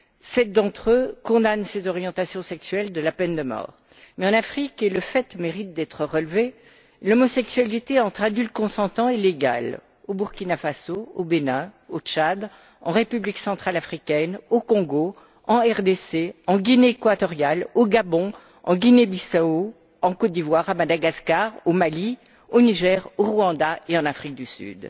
Sept d'entre eux punissent ces orientations sexuelles de la peine de mort. Toutefois, en Afrique, le fait mérite d'être relevé, l'homosexualité entre adultes consentants est légale, au Burkina Faso, au Bénin, au Tchad, en République centrafricaine, au Congo, en RDC, en Guinée équatoriale, au Gabon, en Guinée Bissau, en Côte d'Ivoire, à Madagascar, au Mali, au Niger, au Rwanda et en Afrique du Sud.